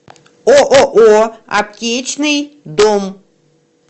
ооо аптечный дом